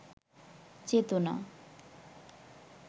চেতনা